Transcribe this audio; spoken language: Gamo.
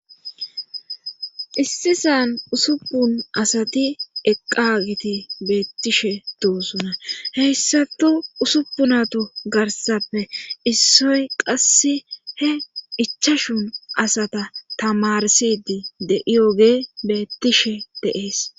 issi san usupun asati eqqagiti beettishe doosuna heyssatu usupunato garsappe issoy qasse he ichashun asata tamarsidi deiyogee beettishe deees